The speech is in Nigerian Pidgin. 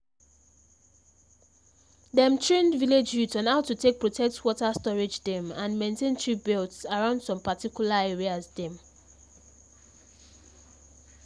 dem train village youths on how to take protect water storage dem and maintain tree belts around some particular areas dem